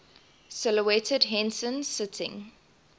silhouetted henson sitting